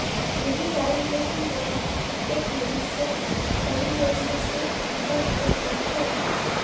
यही कारण है कि वह एक भविष्य परियोजना से निकाल दिया गया है